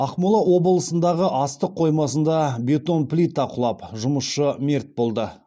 ақмола облысындағы астық қоймасында бетон плита құлап жұмысшы мерт болды